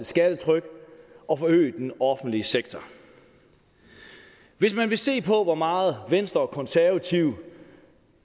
skattetryk og forøge den offentlige sektor hvis man vil se på hvor meget venstre og konservative